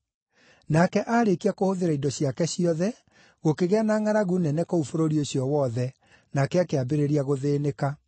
Nake aarĩkia kũhũthĩra indo ciake ciothe, gũkĩgĩa na ngʼaragu nene kũu bũrũri ũcio wothe, nake akĩambĩrĩria gũthĩĩnĩka.